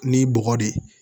Ni bɔgɔ de ye